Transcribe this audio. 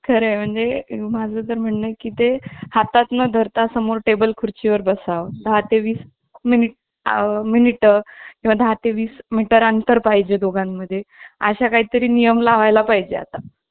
खरे म्हणजे माझं तर म्हणणं आहे की ते हातात न धरता समोर टेबल खुर्ची वर बसावं दहा ते वीस मिनिट मिनिट, दहा ते वीस मीटर अंतर पाहिजे. दोघांमध्ये असा काहीतरी नियम लावायला पाहिजे आता